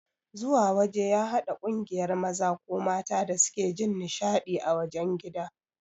Zuwa waje ya hada kungiyar maza ko mata da suke Jin nishadi ã wajen gida.